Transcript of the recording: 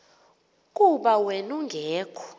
kuba wen ungekho